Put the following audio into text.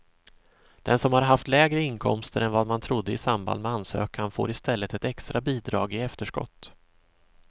Den som har haft lägre inkomster än vad man trodde i samband med ansökan får i stället ett extra bidrag i efterskott.